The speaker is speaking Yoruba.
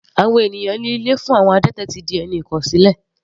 Àwọn ènìyàn ní ilé fún àwọn adẹ́tẹ̀ ti di ẹni ìkọ̀sílẹ̀.